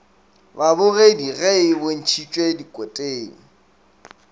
babogedi ge e bontšhitšwe dikoteng